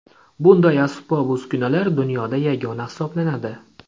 Bunday asbob-uskunalar dunyoda yagona hisoblanadi!